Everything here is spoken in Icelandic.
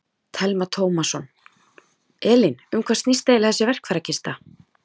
Telma Tómasson: Elín, um hvað snýst eiginlega þessi verkfærakista?